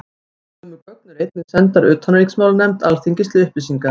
Sömu gögn eru einnig sendar utanríkismálanefnd Alþingis til upplýsingar.